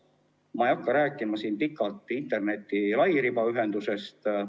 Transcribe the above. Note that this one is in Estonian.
Ma ei hakka siin pikalt rääkima interneti lairibaühendusest.